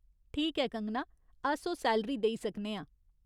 ठीक ऐ, कंगना, अस ओह् सैलरी देई सकने आं।